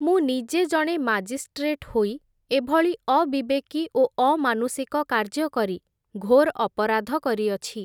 ମୁଁ ନିଜେ ଜଣେ ମାଜିଷ୍ଟ୍ରେଟ୍ ହୋଇ, ଏଭଳି ଅବିବେକୀ ଓ ଅମାନୁଷିକ କାର୍ଯ୍ୟକରି, ଘୋର୍ ଅପରାଧ କରିଅଛି ।